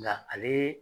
Nka ale